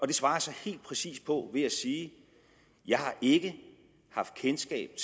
det svarer jeg så helt præcist på ved at sige jeg har ikke haft kendskab